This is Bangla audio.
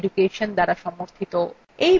এই বিষয় বিস্তারিত তথ্য এই লিঙ্কএ প্রাপ্তিসাধ্য